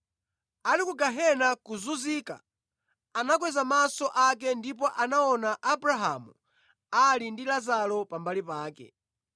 Ali mʼgehena kuzunzika, anakweza maso ake ndipo anaona Abrahamu ali ndi Lazaro pambali pake.